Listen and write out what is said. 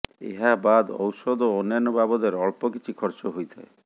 ଏହା ବାଦ ଔଷଧ ଓ ଅନ୍ୟାନ୍ୟ ବାବଦରେ ଅଳ୍ପ କିଛି ଖର୍ଚ୍ଚ ହୋଇଥାଏ